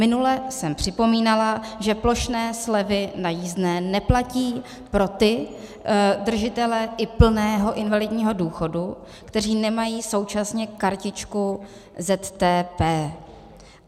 Minule jsem připomínala, že plošné slevy na jízdné neplatí pro ty držitele i plného invalidního důchodu, kteří nemají současně kartičku ZTP.